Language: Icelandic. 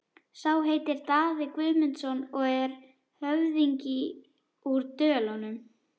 Sá heitir Daði Guðmundsson og er höfðingi úr Dölunum.